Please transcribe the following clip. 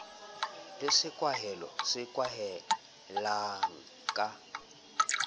le sekwahelo se kwalehang ka